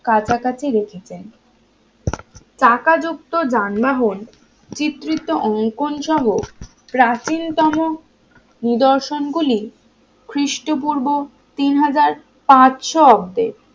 কাছাকাছি রেখেছেন চাকা যুক্ত যানবাহন চিত্রিত অঙ্কন সহ প্রাচীন তম নিদর্শন গুলি খ্রিস্টপূর্ব তিন হাজার পাঁচশো অব্দে